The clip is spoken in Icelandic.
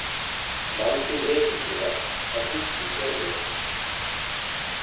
Vandinn er hins vegar að Gústi sér mig ekki.